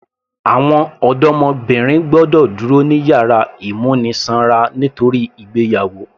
Àwọn ọdọmọbìnrin gbọ́dọ̀ dúró ní yàrá ìmúnisanra nítorí ìgbéyàwó